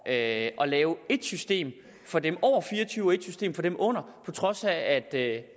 at lave ét system for dem over fire og tyve år og ét system for dem under på trods af